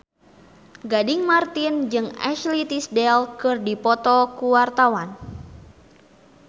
Gading Marten jeung Ashley Tisdale keur dipoto ku wartawan